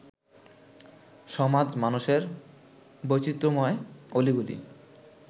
সমাজ-মানসের বৈচিত্র্যময় অলিগলি